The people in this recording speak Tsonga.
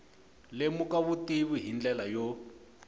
lemuka vutivi hi ndlela yo